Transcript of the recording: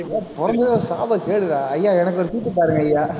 நீயெல்லாம் பொறந்ததே ஒரு சாபக்கேடுடா ஐயா எனக்கு ஒரு சீட்டு பாருங்கய்யா